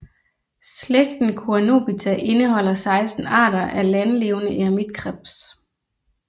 Slægten Coenobita indeholder 16 arter af landlevende eremitkrebs